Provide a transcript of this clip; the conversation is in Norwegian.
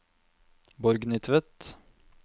Borgny Tvedt